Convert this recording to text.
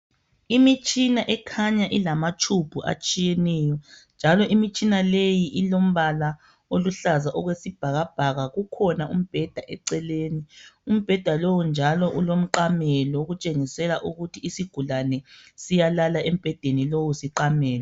Imitshina ekhanya ilamatshubhu atshiyeneyo njalo imitshina leyi ilombala oluhlaza okwesibhakabhaka . Kukhona umbheda eceleni. Umbheda lowu njalo ulomqamelo okutshengisela ukuthi isigulane siyalala embhedeni lowu siqamele.